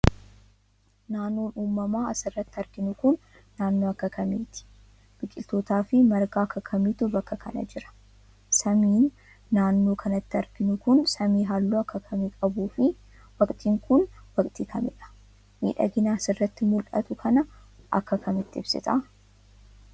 Naannoon uumamaa as irratti arginu kun, naannoo akka kamiiti? Biqiloota fi marga akka kamiitu bakka kana jira? Samiin naannoo kanatti arginu kun, samii haalluu akka kamii qabuu fi waqtiin kun waqtii kamiidha? Miidhagina as irratti mul'atu kana akka kamitti ibsita?